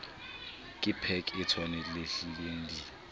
ke pac e tshwanelehileng di